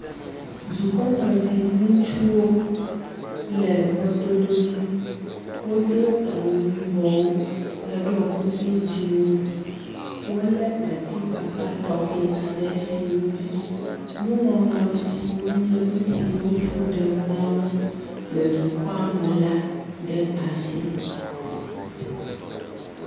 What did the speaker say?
Dukɔmevi ŋutsuwo le mɔdodo dzi. Wodo awu yibɔwo heɖɔ kuku dzɛ̃wo. Wolé atikpakpa tɔxɛ aɖe siwo dzi nuŋɔŋlɔ siwo nye nu siwo fu ɖem na wo le dukɔa me la ɖe asi.